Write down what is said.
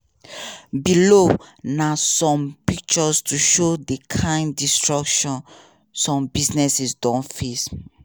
below na some pictures to show di kain destructions some businesses don face.